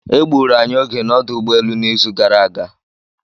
E gburu anyị oge na ọdụ ụgbọelu n'izu gara aga.